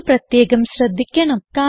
ഇത് പ്രത്യേകം ശ്രദ്ധിക്കണം